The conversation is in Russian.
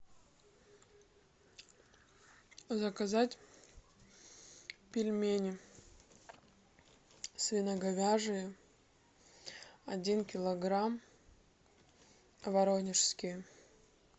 заказать пельмени свино говяжьи один килограмм воронежские